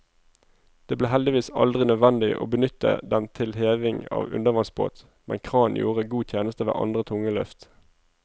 Det ble heldigvis aldri nødvendig å benytte den til heving av undervannsbåt, men kranen gjorde god tjeneste ved andre tunge løft.